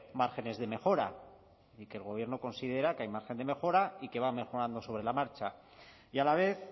márgenes de mejora y que el gobierno considera que hay margen de mejora y que va mejorando sobre la marcha y a la vez